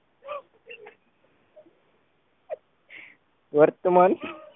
વર્તમાન